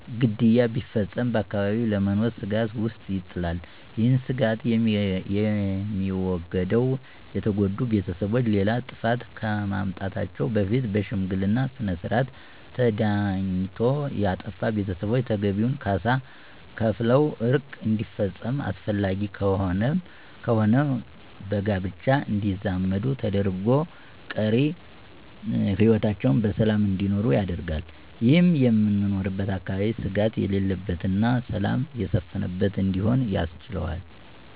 ግድያ ቢፈፀም በአካባቢው ለመኖር ስጋት ውስጥ ይጥላል። ይህ ስጋት የሚወገደው የተጎዱ ቤተሰቦች ሌላ ጥፋት ከማምጣታቸው በፊት በሽምግልና ስነስርዓት ተዳኝቶ ያጠፉ ቤተሰቦች ተገቢውን ካሳ ከፍለው ዕርቅ እንዲፈፀምና አስፈላጊ ከሆነም በጋብቻ እንዲዛመዱ ተደርጎ ቀሪ ህይወታቸውን በሰላም እንዲኖሩ ያደርጋል። ይህም የምኖርበትን አካባቢ ስጋት የሌለበትና ሰላም የሰፈነበት እንዲሆን ያስችለዋል።